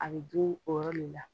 A bɛ dun o yɔrɔ le la.